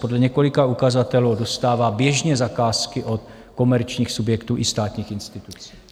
Podle několika ukazatelů dostává běžně zakázky od komerčních subjektů i státních institucí.